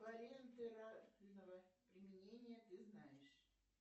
применения ты знаешь